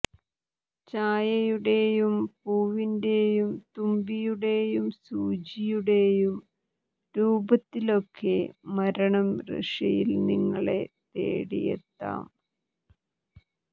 ചായയുടെയും പൂവിന്റെയും തുമ്പിയുടെയും സൂചിയുടെയും രൂപത്തിലൊക്കെ മരണം റഷ്യയിൽ നിങ്ങളെ തേടിയെത്താം